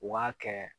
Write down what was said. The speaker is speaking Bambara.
U b'a kɛ